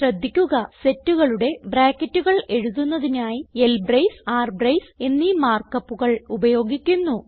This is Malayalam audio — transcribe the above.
ശ്രദ്ധിക്കുക സെറ്റുകളുടെ ബ്രാക്കറ്റുകൾ എഴുതുന്നതിനായി ൽബ്രേസ് ർബ്രേസ് എന്നീ മാർക്ക് upകൾ ഉപയോഗിക്കുന്നു